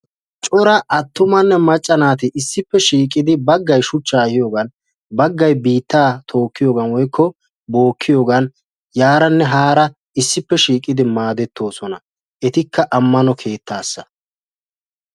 Cora attumanne macca naati issippe shiiqidi baggay shuchcha ehiiyoogan biittaa tookiyoogan woykko bookiyoogan yaaranne haara issippe shiiqidi maadetoosona ettika amano keettaasa.